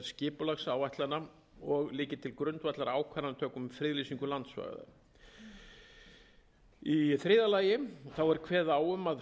skipulagsáætlana og liggi til grundvallar ákvarðanatöku um friðlýsingu landsvæða einn þriðja lagi er kveðið á um að